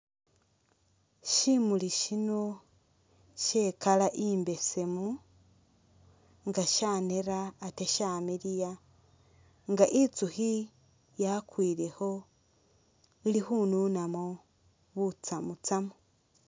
Syimuli syino sye i'colour imbesemu nga syanera ate shamiliya nga itsukhi yakwilekho ili khununamu butsamu tsamu.